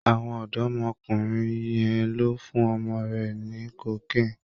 Àwọn ọ̀dọ́mọkùnrin yẹn ló fún ọmọ rẹ ní cocaine.